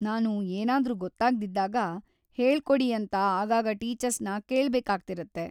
ನಾನು ಏನಾದ್ರೂ ಗೊತ್ತಾಗ್ದಿದ್ದಾಗ ಹೇಳ್ಕೊಡಿ ಅಂತ ಆಗಾಗ ಟೀಚರ್ಸ್‌ನ ಕೇಳ್ಬೇಕಾಗ್ತಿರತ್ತೆ.